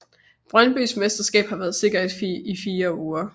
Brøndbys mesterskab har været sikkert i fire uger